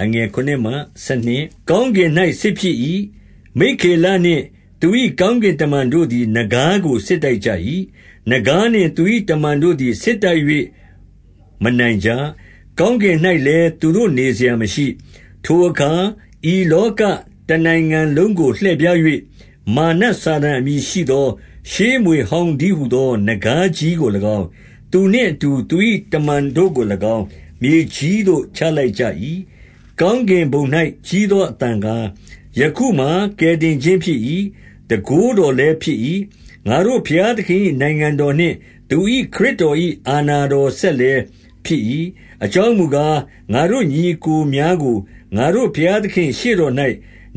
7 ကောင်းကင်၌ စစ်ဖြစ်၏။ မိက္ခေလနှင့် သူ၏ ကောင်းကင်တမန်တို့သည် နဂါးကို စစ်တိုက်ကြ၏။ နဂါးနှင့် သူ၏တမန်တို့သည် စစ်တိုက်၍ မနိုင်ကြ။ ကောင်းကင်၌လည်းသူတို့နေစရာမရှိ။ 8 ထိုအခါ ဤလောကတနိုင်ငံလုံးကို လှည့်ဖြား၍ မာရ်နတ်စာတန် အမည်ရှိသော ရှေးမြွေဟောင်းတည်း ဟူသော နဂါးကြီးကို၎င်း၊ 9 သူနှင့်အတူ သူ၏တမန်တို့ကို၎င်း၊ မြေကြီးသို့ချလိုက်ကြ၏။ 10 ကောင်းကင်ဘုံ၌ ကြီးသောအသံကား၊ ယခုမှာ ကယ်တင်ခြင်းဖြစ်၏။ တန်ခိုးတော်လည်းဖြစ်၏။ ငါတို့ ဘုရားသခင်၏ နိုင်ငံတော်နှင့် သူ၏ ခရစ်တော်၏ အာဏာတော်စက်လည်းဖြစ်၏။ အကြောင်းမူကား၊ ငါတို့ညီအစ်ကိုများကို ငါတို့ဘုရားသခင်ရှေ့တော်၌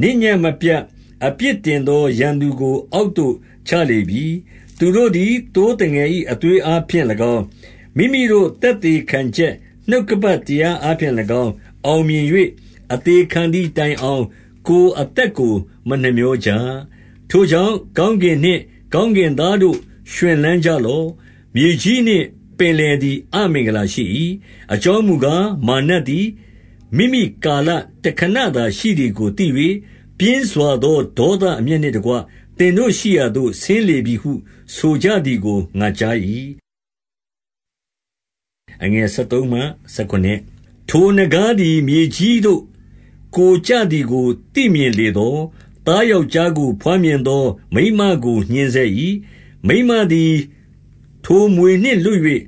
နေ့ညဉ့်မပြတ် အပြစ်တင်သောရန်သူကို အောက်သို့ ချလေပြီ။ 11 သူတို့သည် သိုးသငယ်၏ အသွေးအားဖြင့်၎င်း၊ မိမိတို့သက်သေခံချက် နှုတ်ကပတ်တရားအားဖြင့်၎င်း အောင်မြင်၍၊ အသေခံသည်တိုင်အောင် ကိုယ်အသက်ကို မနှမြောကြ။ 12 ထိုကြောင့် ကောင်းကင်နှင့် ကောင်းကင်သားတို့ ရွှင်လန်းကြလော့။ မြေကြီးနှင့် ပင်လယ်သည် အမင်္ဂလာရှိ၏။ အကြောင်းမူကား၊ မာရ်နတ်သည် မိမိကာလ တခဏသာရှိသည်ကို သိ၍၊ ပြင်းစွာသော ဒေါသအမျက်နှင့်တကွ သင်တို့ရှိရာသို့ ဆင်းလေပြီဟု ဆိုကြသည်ကို ငါကြား၏။ 13 ထိုနဂါးသည် မြေကြီးသို့ ကိုယ်ကျသည်ကို သိမြင်လေသော်၊ သားယောက်ျားကို ဘွားမြင်သော မိန်းမကို ညှဉ်းဆဲ၏။ 14 မိန်းမသည် ထိုမြွေနှင့်လွတ်၍၊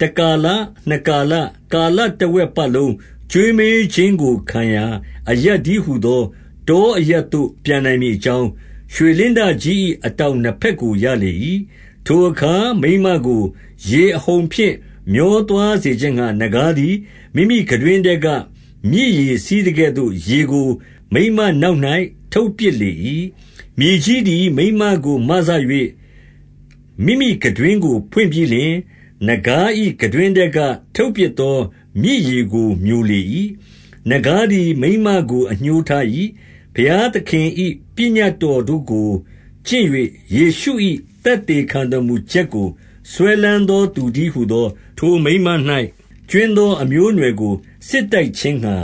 တကာလ၊ နှစ်ကာလ၊ ကာလတဝက်ပတ်လုံး ကျွေးမွေးခြင်းကို ခံရာ အရပ်တည်းဟူသော တောအရပ်သို့ ပျံနိုင်မည့်အကြောင်း၊ ရွှေလင်းတကြီး၏ အတောင်နှစ်ဘက်ကို ရလေ၏။ 15 ထိုအခါ၊ မိန်းမကို ရေအဟုန်ဖြင့် မျောသွားစေခြင်းငှါ၊ နဂါးသည် မိမိခံတွင်းထဲက မြေရေစီးသကဲ့သို့ ရေကို မိန်းမနောက်၌ ထုတ်ပစ်လေ၏။ 16 မြေကြီးသည် မိန်းမကို မစ၍ မိမိခံတွင်းကို ဖွင့်ပြီးလျှင်၊ နဂါး၏ ခံတွင်းထဲက ထုတ်ပစ်သော မြစ်ရေ ကို မျိုလေ၏။ 17 နဂါးသည် မိန်းမကို အငြိုးထား၏။ ဘုရားသခင်၏ ပညတ်တော်တို့ကို ကျင့်၍ ယေရှု၏ သက်သေခံတော်မူချက်ကို စွဲလမ်းသောသူတည်းဟူသော ထိုမိန်းမ၌ ကြွင်းသော အမျိုးအနွယ်ကို စစ်တိုက်ခြင်းငှ